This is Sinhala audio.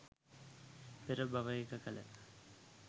පෙර භවයක කළ